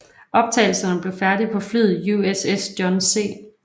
Optagelserne blev færdige på flyet USS John C